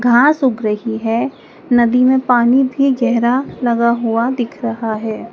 घास सुख रही है नदी में पानी भी गहेरा लगा हुआ दिख रहा है।